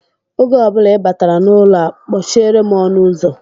Oge ọ bụla ị batara n'ụlọ a, kpọchiere m ọnụụzọ!